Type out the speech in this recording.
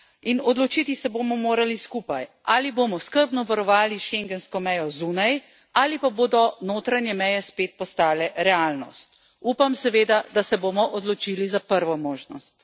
In odločiti se bomo morali skupaj, ali bomo skrbno varovali schengensko mejo zunaj, ali pa bodo notranje meje spet postale realnost. Upam seveda, da se bomo odločili za prvo možnost.